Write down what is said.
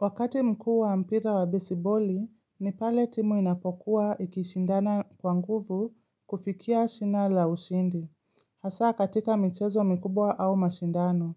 Wakati mkuu wa mpira wa bisiboli, ni pale timu inapokuwa ikishindana kwa nguvu kufikia shina la ushindi. Hasa katika michezo mkubwa au mashindano.